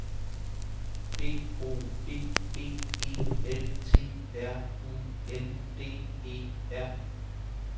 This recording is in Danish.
D O B B E L T R U N D E R